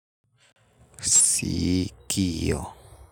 Sikio.